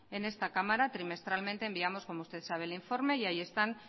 en esta cámara trimestralmente enviamos como usted sabe el informe y ahí están